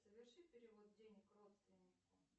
соверши перевод денег родственнику